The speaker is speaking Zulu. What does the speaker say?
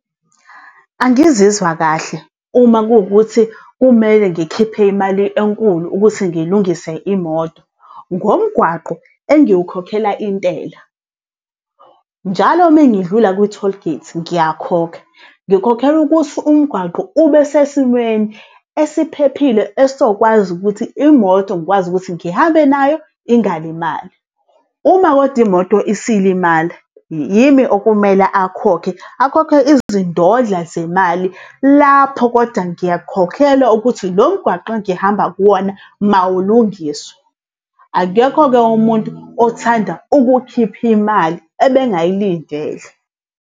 Angizizwa kahle uma kuwukuthi kumele ngikhiphe imali enkulu ukuthi ngilungise imoto, ngomgwaqo engiwukhokhela intela. Njalo mengidlula kwi-tollgate, ngiyakhokha, ngikhokhela ukuthi umgwaqo ube sesimweni esiphephile esokwazi ukuthi imoto ngikwazi ukuthi ngihambe nayo ingalimali. Uma kodwa imoto isilimala yimi okumele akhokhe, akhokhe izindodla zemali lapho kodwa ngiyakukhokhela ukuthi lo mgwaqo engihamba kuwona mawulungiswe. Akekho-ke umuntu othanda ukukhipha imali ebengayilindele.